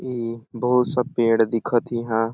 ई बहुत सा पेड़ दिखत ही इहा।